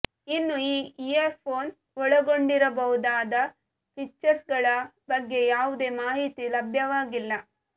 ಇನ್ನು ಈ ಇಯರ್ಫೋನ್ ಒಳಗೊಂಡಿರಬಹುದಾದ ಫೀಚರ್ಸ್ಗಳ ಬಗ್ಗೆ ಯಾವುದೇ ಮಾಹಿತಿ ಲಭ್ಯವಾಗಿಲ್ಲ